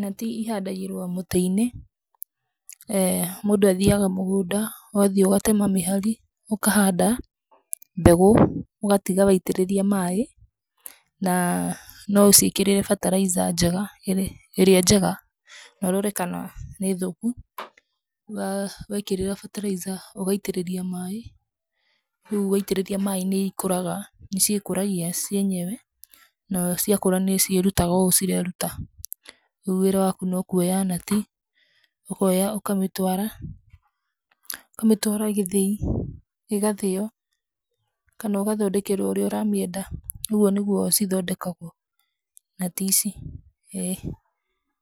nati ihandagirwo mũtĩ-inĩ. Eeh Mũndũ athiaga mũgũnda, ũgathiĩ ũgatema mĩhari, ũkahanda mbegũ, ũgatiga waitĩrĩria maĩ. Na no ũcikĩrĩre fertilizer njega, ĩrĩa njega na ũrore kana nĩ thũku. Wekĩrĩra fertilizer, ũgaitĩrĩria maĩ, rĩu waitĩrĩria maĩ nĩ ciĩkũragia cienyewe. Na ciakũra nĩciĩrutaga ũũ cireruta. Rĩu wĩra waku no kuoya nati, ũkoya ũkamĩtwara, ũkamĩtwara gĩthĩi, ĩgathĩo, kana ũgathondekerwo ũrĩa ũra mĩenda. Ũguo nĩguo cithondekagwo.